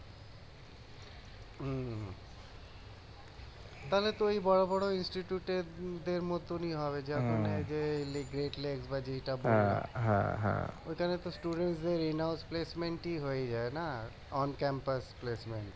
তাহলে তো ওই বড় বড় এর মতনই হবে যখন এই যে এখানে তো দের হয়ে যায় না